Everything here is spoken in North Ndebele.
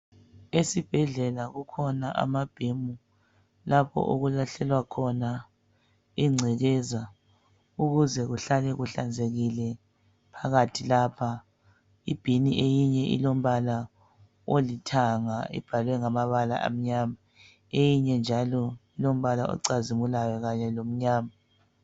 Esibhedlela kukhona ama bin lapho okulahlelwa khona ingcekeza ukuze kuhlale kuhlanzekile phakathi lapha i bin eyinye ilombala olithanga ibhalwe ngamabala amnyama eyinye njalo ilombala ocazimulayo kanye lomnyama.